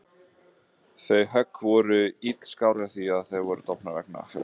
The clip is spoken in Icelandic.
Þau högg voru illskárri því að þær voru dofnar vegna fjötranna.